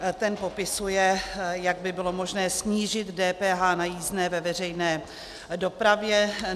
Ten popisuje, jak by bylo možné snížit DPH na jízdné ve veřejné dopravě.